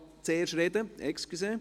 Entschuldigung.